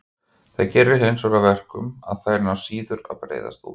Það gerir hinsvegar að verkum að þær ná síður að breiðast út.